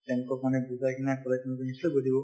তেওঁলোকক মানে বুজাই কিনে কলে তেওঁলোকে নিশ্চয় বুজিব